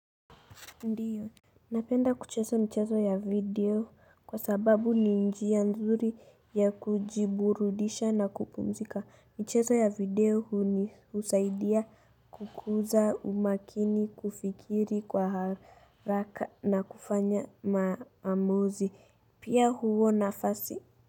Ndiyo, napenda kucheza mcheso ya video kwa sababu ni njia nzuri ya kujiburudisha na kupumzika. Mchezo ya video hunisaidia kukuza umakini kufikiri kwa haraka na kufanya maamuzi. Pia huo nafasi.